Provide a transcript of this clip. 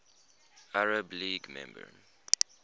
arab league member